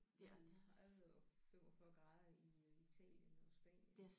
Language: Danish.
Mellem 30 og 45 grader i øh Italien og Spanien